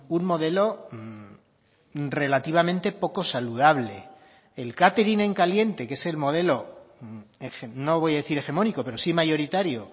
un modelo relativamente poco saludable el catering en caliente que es el modelo no voy a decir hegemónico pero sí mayoritario